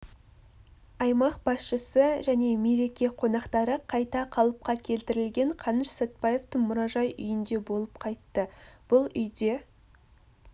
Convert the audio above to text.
аймақ басшысы және мереке қонақтары қайта қалыпқа келтірілген қаныш сәтпаевтың мұражай үйінде болып қайтты бұл үйде